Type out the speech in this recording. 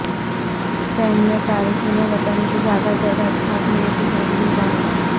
سپین میں تارکن وطن کی زیادہ تعداد کے حق میں احتجاجی مظاہرہ